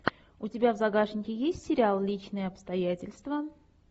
у тебя в загашнике есть сериал личные обстоятельства